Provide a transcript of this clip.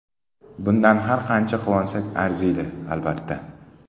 Bundan har qancha quvonsak arziydi, albatta.